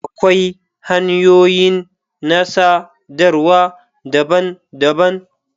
Akwai hanyoyin na sadarwa daban-daban.